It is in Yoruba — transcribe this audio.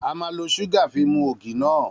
A ma lo súgà fi mu ògì náà